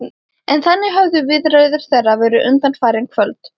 En þannig höfðu viðræður þeirra verið undanfarin kvöld.